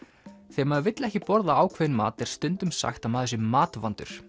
þegar maður vill ekki borða ákveðinn mat er stundum sagt að maður sé matvandur